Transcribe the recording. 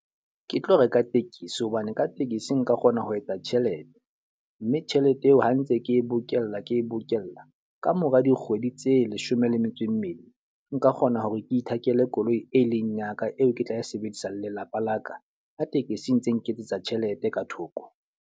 Ke tlo reka tekesi hobane ka tekesi nka kgona ho etsa tjhelete. Mme tjhelete eo ha ntse ke e bokella ke bokella, ka mora dikgwedi tse leshome le metso e mmedi. Nka kgona hore ke ithekele koloi e leng ya ka eo ke tla e sebedisa le lelapa la ka, ha tekesi e ntse nketsetsa tjhelete ka thoko.